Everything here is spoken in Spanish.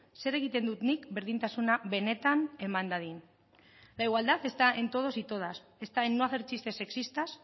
zer egiten dut nik berdintasuna benetan eman dadin la igualdad está en todos y todas está en no hacer chistes sexistas